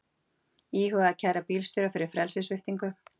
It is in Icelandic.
Íhuga að kæra bílstjóra fyrir frelsissviptingu